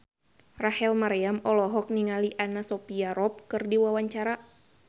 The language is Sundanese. Rachel Maryam olohok ningali Anna Sophia Robb keur diwawancara